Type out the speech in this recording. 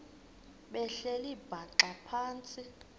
behleli bhaxa phantsi